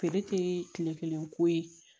Feere tɛ kile kelen ko ye